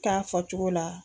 k'a fɔcogo la.